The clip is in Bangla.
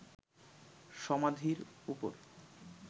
সমাধির উপর